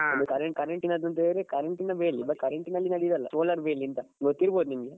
ಅದು current current ನಂತ ಹೇಳಿದ್ರೆ current ಬೇಲಿ current ನಲ್ಲಿ ನಡಿಯುದಲ್ಲ solar ಬೇಲಿ ಅಂತ ಗೊತ್ತಿರಬಹುದು ನಿಮ್ಗೆ.